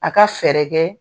A ka fɛɛrɛ kɛ